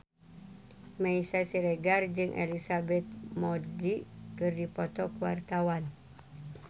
Meisya Siregar jeung Elizabeth Moody keur dipoto ku wartawan